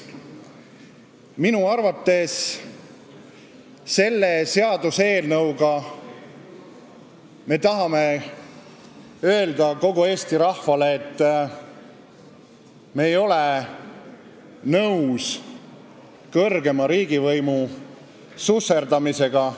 Minu arvates selle seaduseelnõuga me tahame öelda kogu Eesti rahvale, et me ei ole nõus kõrgema riigivõimu susserdamisega.